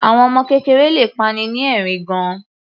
Àwọn ọmọ kékeré le pa'ni ni ẹ̀rín gan-an.